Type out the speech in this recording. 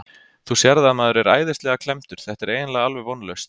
Þú sérð að maður er æðislega klemmdur, þetta er eiginlega alveg vonlaust.